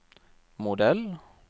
modell